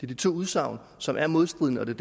de to udsagn som er modstridende og det